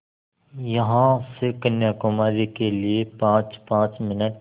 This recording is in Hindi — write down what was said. यहाँ से कन्याकुमारी के लिए पाँचपाँच मिनट